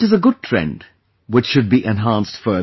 This is a good trend, which should be enhanced further